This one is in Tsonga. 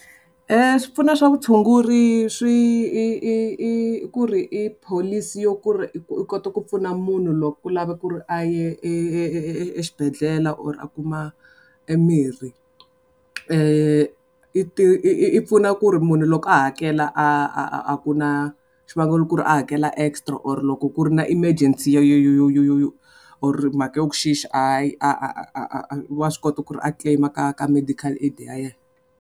Swipfuno swa vutshunguri swi i i i ku ri i pholisi yo ku ri i ku u kota ku pfuna munhu loko ku lava ku ri a ye e e e exibedhlele or a kuma e mirhi. I ti i pfuna ku ri munhu loko a hakela a a a a ku na xivangelo ku ri a hakela extra or loko ku ri na emergency or mhaka ya ku a a a a a a a wa swi kota ku ri a claim ka ka medical aid ya yena.